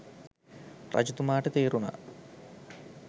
රජතුමාට තේරුණා